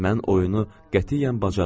Mən oyunu qətiyyən bacarmırdım.